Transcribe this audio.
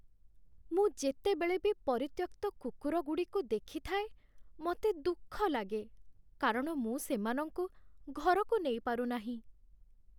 ମୁଁ ଯେତେବେଳେ ବି ପରିତ୍ୟକ୍ତ କୁକୁରଗୁଡ଼ିକୁ ଦେଖିଥାଏ ମୋତେ ଦୁଃଖ ଲାଗେ, କାରଣ ମୁଁ ସେମାନଙ୍କୁ ଘରକୁ ନେଇପାରୁନାହିଁ ।